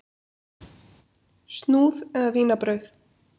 Snúð eða vínarbrauð?